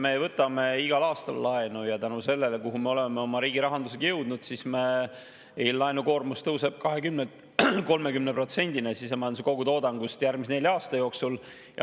Me võtame igal aastal laenu ja tulenevalt sellest, kuhu me oleme oma riigi rahandusega jõudnud, meil laenukoormus tõuseb 20%‑lt 30%‑le sisemajanduse kogutoodangust järgmise nelja aasta jooksul.